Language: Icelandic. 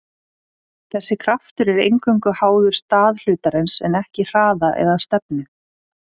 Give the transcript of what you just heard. þessi kraftur er eingöngu háður stað hlutarins en ekki hraða eða stefnu